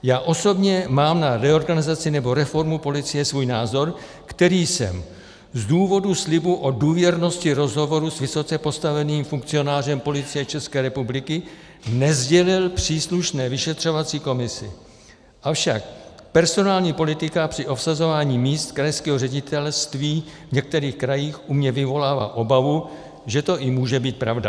Já osobně mám na reorganizaci nebo reformu policie svůj názor, který jsem z důvodu slibu o důvěrnosti rozhovoru s vysoce postaveným funkcionářem Policie České republiky nesdělil příslušné vyšetřovací komisi, avšak personální politika při obsazování míst krajského ředitelství v některých krajích u mě vyvolává obavu, že to i může být pravda.